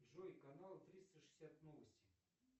джой канал триста шестьдесят новости